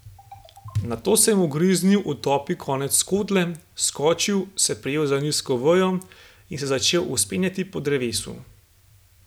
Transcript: Nato sem ugriznil v topi konec skodle, skočil, se prijel za nizko vejo in se začel vzpenjati po drevesu.